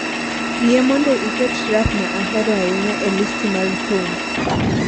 Yie mondo iket rap ma ahero ahinya e listi mar thum